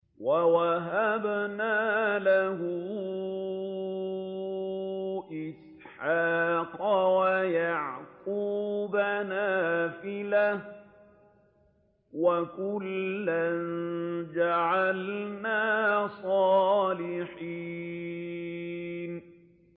وَوَهَبْنَا لَهُ إِسْحَاقَ وَيَعْقُوبَ نَافِلَةً ۖ وَكُلًّا جَعَلْنَا صَالِحِينَ